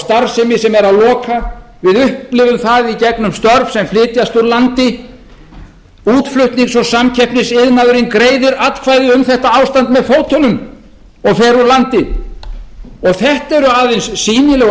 starfsemi sem er að loka við upplifum það í gegnum störf sem flytjast úr landi útflutnings og samkeppnisiðnaðurinn greiðir atkvæði um þetta ástand með fótunum og fer úr landi og þetta eru aðeins sýnilegu